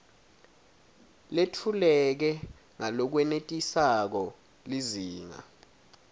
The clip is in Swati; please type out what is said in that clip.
letfuleke ngalokwenetisako lizinga